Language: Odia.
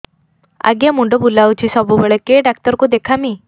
ଆଜ୍ଞା ମୁଣ୍ଡ ବୁଲାଉଛି ସବୁବେଳେ କେ ଡାକ୍ତର କୁ ଦେଖାମି